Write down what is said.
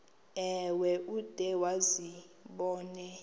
ewe ude uzibone